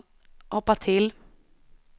hoppa till